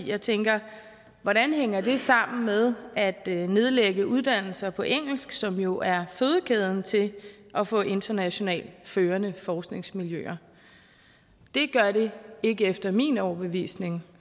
jeg tænker hvordan hænger det sammen med at nedlægge uddannelser på engelsk som jo er fødekæden til at få internationalt førende forskningsmiljøer det gør det ikke efter min overbevisning